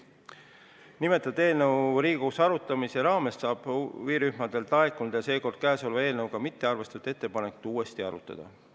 Nimetatud eelnõu Riigikogus arutamise raames saab huvirühmadelt laekunud ja sel korral käesolevas eelnõus arvestamata jäetud ettepanekuid uuesti arutada.